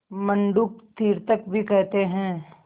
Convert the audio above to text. मंडूक तीर्थक भी कहते हैं